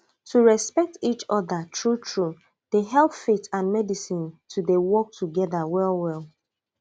to respect each other true truedey help faith and medicine to dey work together well well